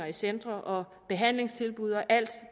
i centre og behandlingstilbud og alt